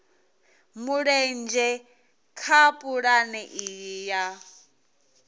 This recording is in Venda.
mulenzhe kha pulane iyi ya